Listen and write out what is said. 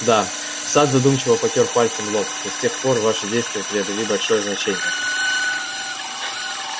да сатт задумчиво потёр пальцем лоб но с тех пор ваши действия приобрели большое значение